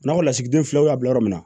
N'anw lasigidenw y'a bila yɔrɔ min na